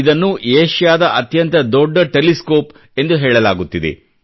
ಇದನ್ನು ಏಷಿಯಾದ ಅತ್ಯಂತ ದೊಡ್ಡ ಟೆಲಿಸ್ಕೋಪ್ ಎಂದು ಹೇಳಲಾಗುತ್ತಿದೆ